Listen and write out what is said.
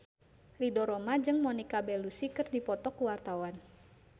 Ridho Roma jeung Monica Belluci keur dipoto ku wartawan